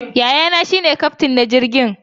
Yayana shi ne kyaftin na jirgin.